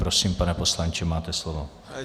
Prosím, pane poslanče, máte slovo.